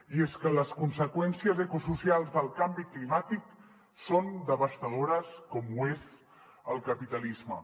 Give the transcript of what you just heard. i és que les conseqüències ecosocials del canvi climàtic són devastadores com ho és el capitalisme